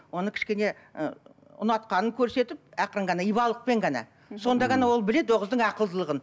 оны кішкене і ұнатқанын көрсетіп ақырын ғана ибалықпен ғана сонда ғана ол біледі ол қыздың ақылдылығын